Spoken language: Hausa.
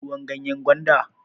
Kin sha ruwan ganyan gwanda?